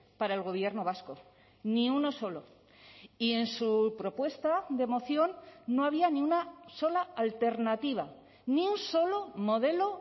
para el gobierno vasco ni uno solo y en su propuesta de moción no había ni una sola alternativa ni un solo modelo